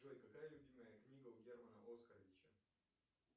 джой какая любимая книга у германа оскаровича